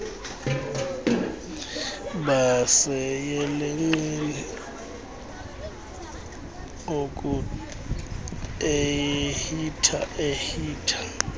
baseyelenqeni lokuehitha ehitha